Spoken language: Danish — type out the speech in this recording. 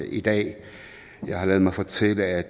i dag jeg har ladet mig fortælle at